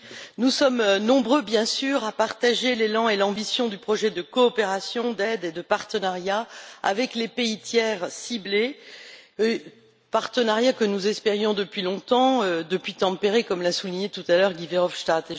Madame la Présidente, nous sommes nombreux, bien sûr, à partager l'élan et l'ambition du projet de coopération, d'aide et de partenariat avec les pays tiers ciblés, partenariat que nous espérions depuis longtemps, depuis Tampere, comme l'a souligné tout à l'heure Guy Verhofstadt.